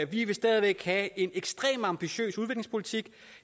vi vil stadig væk have en ekstremt ambitiøs udviklingspolitik